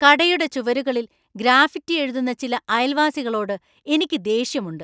കടയുടെ ചുവരുകളിൽ ഗ്രാഫിറ്റി എഴുതുന്ന ചില അയൽവാസികളോട് എനിക്ക് ദേഷ്യമുണ്ട്.